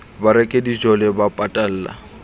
ba reke dijole ho patalla